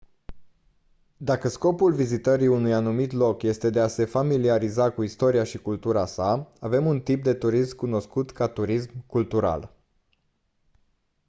dacă scopul vizitării unui anumit loc este de a se familiariza cu istoria și cultura sa avem un tip de turism cunoscut ca turism cultural